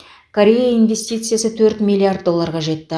корея инвестициясы төрт миллиард долларға жетті